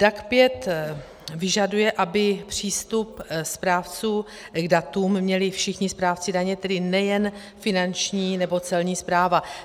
DAC 5 vyžaduje, aby přístup správců k datům měli všichni správci daně, tedy nejen Finanční nebo Celní správa.